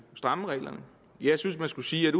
stramme reglerne jeg synes man skulle sige at